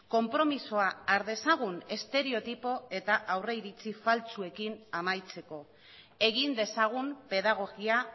konpromisoa har dezagun estereotipo eta aurreiritzi faltsuekin amaitzeko egin dezagun pedagogia